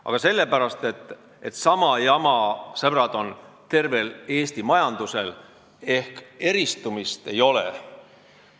Aga sellepärast, et sama jama, sõbrad, on tervel Eesti majandusel – eristumist ei ole.